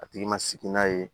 A tigi ma sigi n'a ye